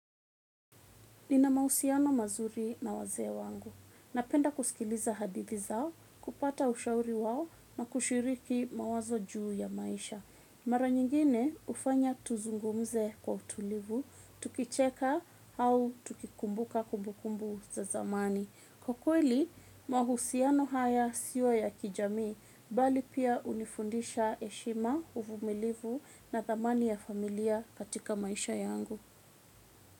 Nina mahusiano mazuri na wazee wangu. Napenda kusikiliza hadithi zao, kupata ushauri wao na kushiriki mawazo juu ya maisha. Mara nyingine hufanya tuzungumze kwa utulivu, tukicheka au tukikumbuka kumbukumbu za zamani. Kwa kweli, mahusiano haya sio ya kijamii, bali pia hunifundisha heshima uvumilivu na thamani ya familia katika maisha yangu.